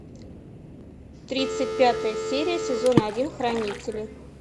тридцать пятая серия сезон один хранители